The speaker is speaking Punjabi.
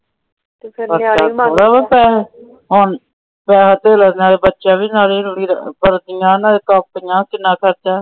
ਨਾਲੇ ਬੱਚੇ ਵੀ ਕਿੰਨਾ ਖਰਚਾ।